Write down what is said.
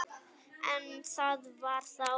En það var þá.